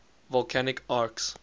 volcanic arcs